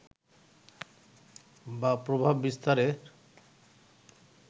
বা প্রভাব বিস্তারের